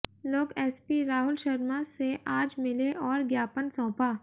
लोग एसपी राहुल शर्मा से आज मिले और ज्ञापन सौंपा